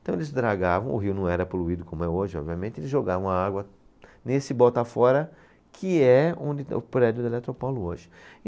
Então eles dragavam, o rio não era poluído como é hoje, obviamente, eles jogavam a água nesse Bota-fora, que é onde o prédio da Eletropaulo hoje.